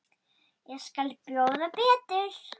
Ég skal bjóða betur.